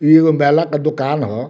इ एगो माला के दुकान ह।